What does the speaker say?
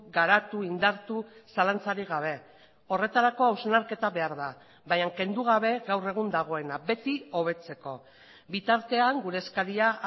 garatu indartu zalantzarik gabe horretarako hausnarketa behar da baina kendu gabe gaur egun dagoena beti hobetzeko bitartean gure eskaria